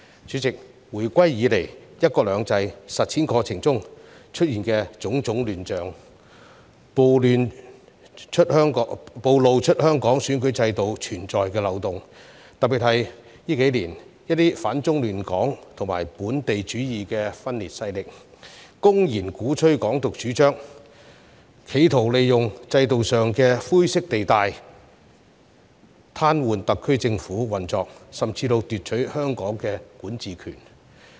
主席，回歸以來，"一國兩制"實踐過程中出現種種亂象，暴露了香港選舉制度存在的漏洞，特別在這數年，一些反中亂港及本土主義的分裂勢力公然鼓吹"港獨"主張，企圖利用制度上的灰色地帶，癱瘓特區政府運作，甚至奪取香港的管治權。